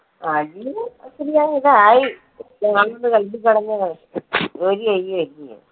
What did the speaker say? അജി തായി